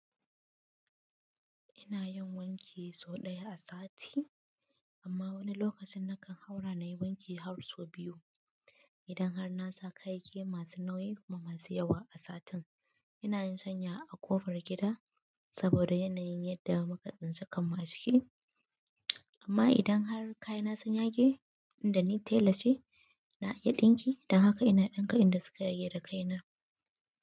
Ina yin wanki sau ɗaya a sati, amma wani lokacin nakan haura na yi wanki har sau biyu. Idan har na sa kayayyaki masu nauyi kuma masu yawa a satin, ina yin shanya a ƙofar gida saboda yanayin yadda muka tsinci kammu a ciki. Amma idan har kayana sun yage, tunda ni tela ce, na iya ɗinki. Don haka ina ɗinka inda suka yage da kayana.